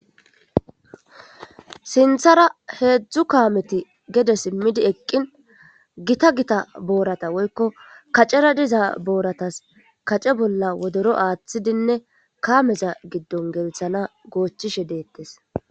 sinthara heedzdzu kaameti gede simmidi eqqin gita gita boorata woykko kacera diza booratas kace bolla wodoro aaththidinne kaameza giddon gelthana goochishe deettes